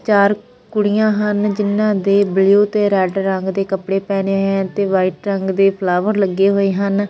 ਚਾਰ ਕੁੜੀਆਂ ਹਨ ਜਿਨਾਂ ਦੇ ਬਿਲੋ ਤੇ ਰੈਡ ਰੰਗ ਦੇ ਕੱਪੜੇ ਪਹਿਨੇ ਤੇ ਵਾਈਟ ਰੰਗ ਦੇ ਫਲਾਵਰ ਲੱਗੇ ਹੋਏ ਹਨ।